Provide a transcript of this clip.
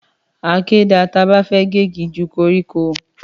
Àkẹ dà tàbá fẹ gẹ́gì jú kọrikọ